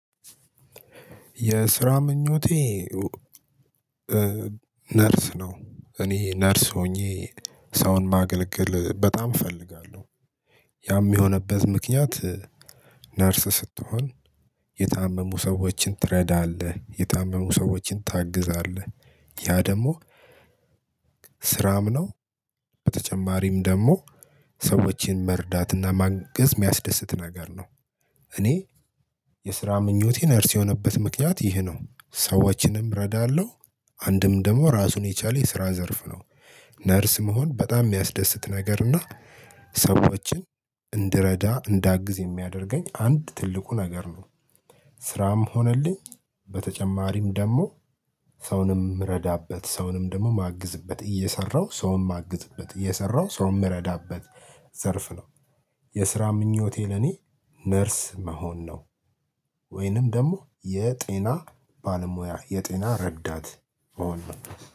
የስራ ምኞቴ ነርስ ነው። እኔ ነርስ ሆኜ ሰውን ማገልገል በጣም እፈልጋለሁ። ያም የሆነበት ምክንያት ነርስ ስትሆን የታመሙ ሰዎችን ትረዳለህ የታመሙ ሰዎችን ታግዛለህ ያ ደግሞ ስራም ነው። በተጨማሪም ደግሞ ሰዎችን መርዳትና ማገዝ የሚያስደስት ነገር ነው። እኔ የስራ ምኞቴን ነርስ የሆነበት ምክንያት ይህ ነው። ሰዎችንም እረዳለሁ አንድም ደግሞ ራሱን የቻለ የስራ ዘርፍ ነው። ነርስ መሆን በጣም የሚያስደስት ነገር እና ሰዎችን እንድረዳ እንዳግዝ የሚያደርገኝ አንድ ትልቁ ነገር ነው። ስራም ሆነልኝ በተጨማሪም ደግሞ ሰውንም ምረዳበት ሰውንም ደግሞ ማግዝበት እየሰራሁ ሰውንም ማግዝበት እየሰራሁ ሰውንም ምረዳበት ዘርፍ ነው። የስራ ምኞቴ ለኔ ነርስ መሆን ነው። ወይንም ደግሞ የጤና ባለሙያ የጤና ረዳት ነው